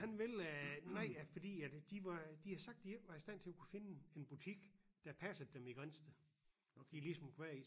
Han vil øh nej fordi at de var de har sagt de ikke var i stand til at kunne finde en butik der passede dem i Grindsted de ligesom kunne være i